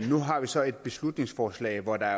nu har vi så et beslutningsforslag hvor der